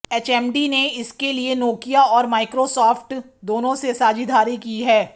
HMD ने इसके लिए नोकिया और माइक्रोसॉफ्ट दोनों से साझेदारी की है